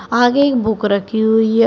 आगे एक बुक रखी हुई है उस--